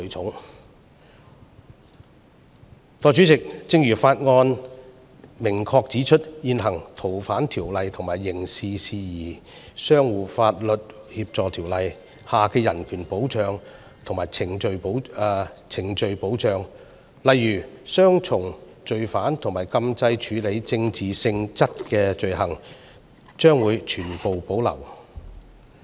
代理主席，正如《條例草案》明確指出，現行《逃犯條例》和《刑事事宜相互法律協助條例》下的人權保障和程序保障，例如雙重犯罪和禁制處理政治性質的罪行，將會全部保留。